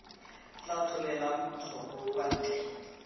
tla tlolelang kgoro kwa ntle